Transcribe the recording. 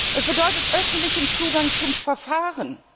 Es bedeutet öffentlichen Zugang zum Verfahren!